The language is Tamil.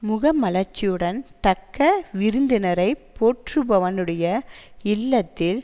முக மலர்ச்சியுடன் தக்க விருந்தினரை போற்றுபவனுடைய இல்லத்தில்